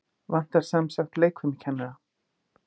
Vantar semsagt leikfimikennara?